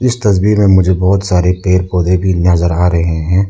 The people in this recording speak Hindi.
इस तस्वीर में मुझे बहोत सारे पेड़ पौधे की नजर आ रहे हैं।